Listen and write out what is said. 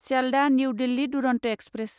Sealdah new Delhi Duronto express